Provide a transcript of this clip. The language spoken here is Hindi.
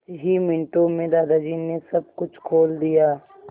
कुछ ही मिनटों में दादाजी ने सब कुछ खोल दिया